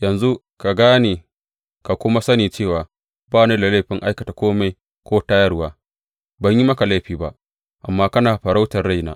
Yanzu ka gane ka kuma sani cewa ba ni da laifin aikata kome ko tayarwa, ban yi maka laifi ba, amma kana farautar raina.